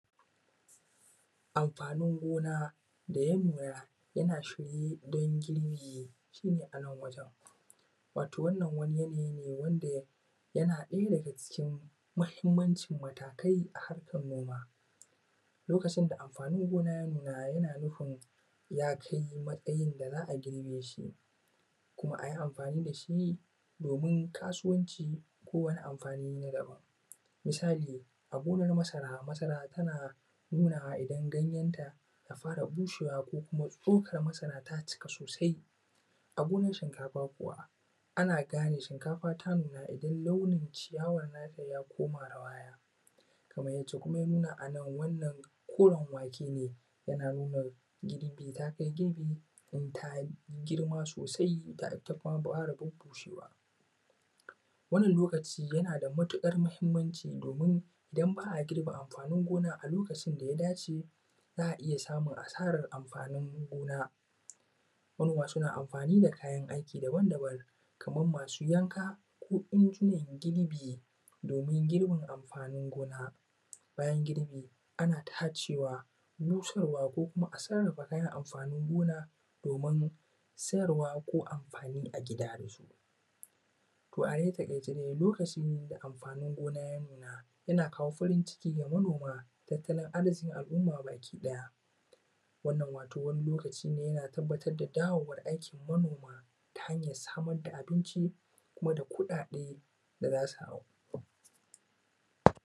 Amfanin gona ya nuna yana shigo don girbe shi ne a nan wajen wato wannan wani yanayi ne wanda yana ɗaya daga daga cikin mahimmancin matakai a hakar noma lokacin da amfanin gona ya nuna yana nufin ya kai matsayin da za`a girbe shi kuma a yi amfani da shi domin kasuwanci ko wani amfani na daban, misali a gonar masara, masara tana nunawa idan ganyenta ta fara bushewa ko tsokar masara ta cika sosai, a gonan shinkafa kuwa ana gane shinkafa ta nuna idan launin ciyawar na ta ya ƙone ya koma rawaya kamar yace ya nuna a nan koren wake ne yana nuna girbi ta kai girbi domin ta girma sosai har ta fara durƙushewa wannan lokaci yana da mutuƙar mahimmanci domin don ba a girbe amfanin gona a lokacin da ya dace za`a iya samun asara amfanin gona, manoma suna amfani da kayan aiki daban daban Kaman masu yanka ko injinan girbi domin girbin amfanin gona bayan girbi ana tacewa, busarwa ko kuma a sarrafa kayan amfanin gona domin sayarwa ko amfani a gida da su. To da a takaice dai lokacin da amfanin gona ya nuna yana kawo farin ciki ga manoma, tattalin arzikin al`umma baki ɗaya, wannan wato wani lokaci ne yana tabbatar da dawowan manoma yana samar da abinci kuma da kuɗaɗe da za su